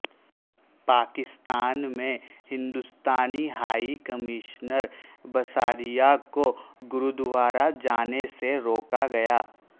پاکستان میں Hindustani high commissioner Bisaria کو گرودوارہ جانے سے روکا گیا